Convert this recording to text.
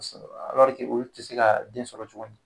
olu tɛ se ka den sɔrɔ tugun